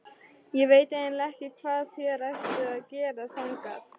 Ég veit eiginlega ekki hvað þér ættuð að gera þangað.